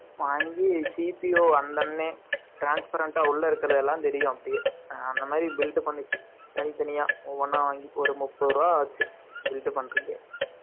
வாங்கி, CPO வந்த உடனே, 15 . உள்ள இருக்கிறது எல்லாம் தெரியும் அப்படியே. அந்த மாதிரி build பண்ணுச்சு.தனித்தனியா, ஒவ்வொண்ணா வாங்கி, ஒரு முப்பது ரூபாய் ஆச்சு, filter பண்றதுக்கே